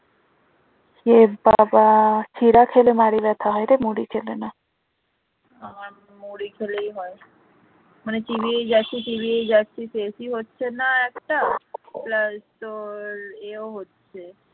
আমার মুড়ি খেলেই হয় মানে চিবিয়ে যাচ্ছি চিবিয়েই যাচ্ছি শেষই হচ্ছে না একটা plus তোর ইয়েও হচ্ছে।